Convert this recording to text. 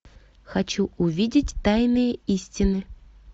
хочу увидеть тайные истины